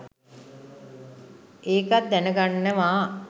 ඒකත් දැනගන්නවා.